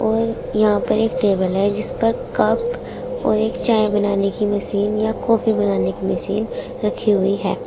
और यहां पर एक टेबल है जिस पर कप और एक चाय बनाने की मशीन या कॉफी बनाने की मशीन रखी हुई है।